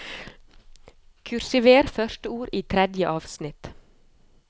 Kursiver første ord i tredje avsnitt